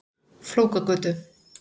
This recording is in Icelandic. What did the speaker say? Flókagötu